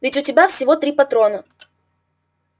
ведь у тебя всего три патрона